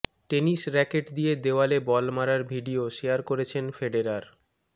tennis racket দিয়ে দেওয়ালে ball মারার ভিডিও শেয়ার করেছেন ফেডেরার